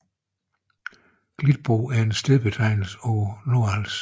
Gildbro er en stedbetegnelse på Nordals